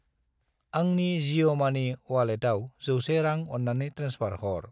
आंनि जिअ' मानि अवालेटाव 100 रां अन्नानै ट्रेन्सफार हर।